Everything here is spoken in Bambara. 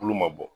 Tulo ma bɔ